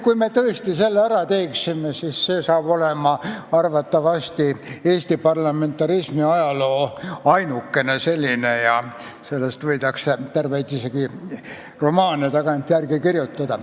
Kui me tõesti selle ära teeme, siis see on arvatavasti Eesti parlamentarismi ajaloo ainukene selline tegu ja sellest võidakse hiljem isegi terveid romaane kirjutada.